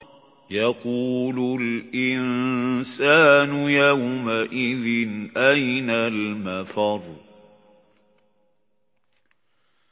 يَقُولُ الْإِنسَانُ يَوْمَئِذٍ أَيْنَ الْمَفَرُّ